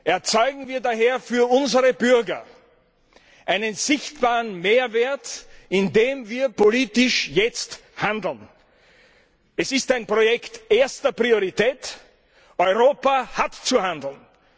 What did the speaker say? Erzeugen wir daher für unsere Bürger einen sichtbaren Mehrwert, indem wir jetzt politisch handeln. Es ist ein Projekt erster Priorität Europa hat zu handeln.